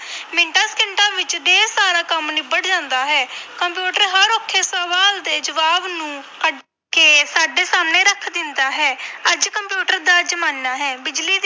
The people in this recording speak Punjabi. ਮਿੰਟਾਂ ਸਕਿੰਟਾਂ ਵਿੱਚ ਢੇਰ ਸਾਰਾ ਕੰਮ ਨਿਬੜ ਜਾਂਦਾ ਹੈ, ਕੰਪਿਊਟਰ ਹਰ ਔਖੇ ਸਵਾਲ ਦੇ ਜਵਾਬ ਨੂੰ ਕੱਢ ਕੇ ਸਾਡੇ ਸਾਹਮਣੇ ਰੱਖ ਦਿੰਦਾ ਹੈ ਅੱਜ ਕੰਪਿਊਟਰ ਦਾ ਜ਼ਮਾਨਾ ਹੈ, ਬਿਜ਼ਲੀ ਦੀ